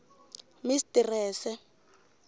mistrese